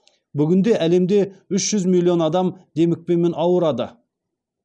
бүгінде әлемде үш жүз миллион адам демікпемен ауырады